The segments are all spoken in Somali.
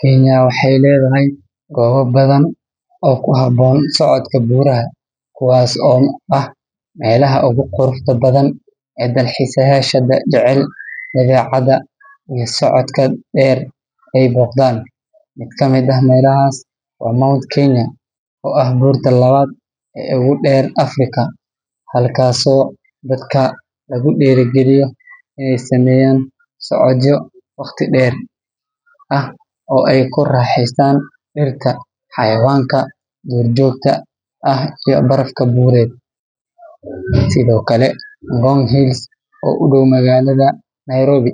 Kenya waxeey ledahay gooba badan oo ku haboon socodka buuraha kuwaas oo ah meelaha ugu quruxda badan ee dalxiisa yaasha jecel socodka deer ee Dan, mid kamid ah meelahas waa mount Kenya, oo ah buurta labaad oo ogu deer Africa, halkaas oo dadka lagu diiri galiyo inaay sameeyaan socodyo waqti deer ah oo aay ku raaxestaan dirta, xawayanka duur joogta ah iyo barafka buured, sido kale mount hills oo u dow magalada Nairobi,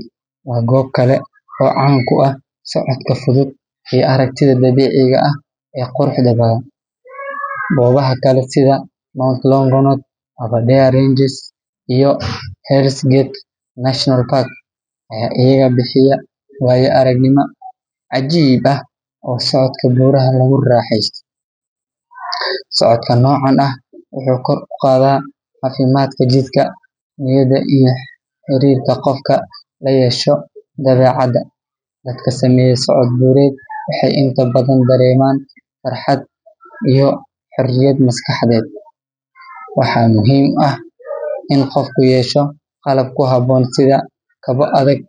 waa goob kale oo caan ku ah socodka fudud iyo aragtida dabiiciga ah ee quruxda badan, goobaha kale sida mount longonot, abaredare ranges ayaa ayagana bixiya waaya aragnima cajiib ah oo socodka buuraha lagu raxeesto, socodka noocan ah wuxuu kor uqaada cafimaadka jirka, niyada iyo xariirka qofka layeesho dabeecada, dadka saneeyo socod buured waxeey inta badan dareeman farxad iyo xoriyad maskaxadeed, waxaa muhiim ah in qofka yeesho qalab ku haboon sida kaba adag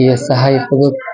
iyo sahaay fudud.